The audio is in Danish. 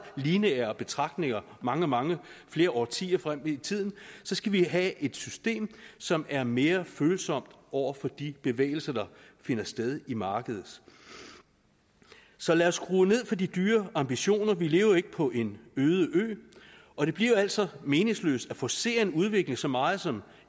lineære betragtninger mange mange årtier frem i tiden skal vi have et system som er mere følsomt over for de bevægelser der finder sted i markedet så lad os skrue ned for de dyre ambitioner vi lever jo ikke på en øde ø og det bliver altså meningsløst at forcere en udvikling så meget som